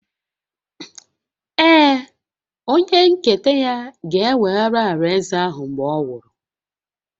Ee, onye nketa ya ga-eweghara alaeze ahụ mgbe ọ nwụrụ